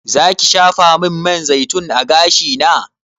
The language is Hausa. Zaki shafamin man zaitun a gashina?